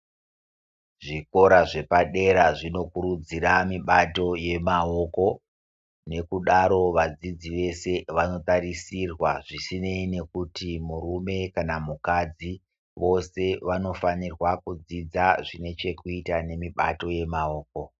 Zvikora zvepadera zvinokurudzira mibato yemaoko. Nekudaro vadzidzi vese vanotarisirwa, zvisinei nekuti murume kana mukadzi vose vanofanirwa kudzidza zvinechekuita nemibato yemaoko.